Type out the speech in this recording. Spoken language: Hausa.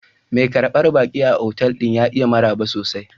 Mai karbar baki a otal ɗin ya iya maraba sosai.